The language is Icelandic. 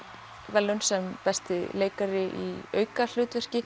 verðlaun sem besti leikari í aukahlutverki